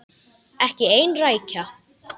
Ekki ein rækja.